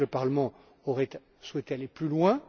Je sais que le Parlement aurait souhaité aller plus loin.